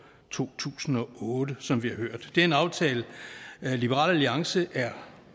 to tusind og otte som vi har hørt det er en aftale liberal alliance er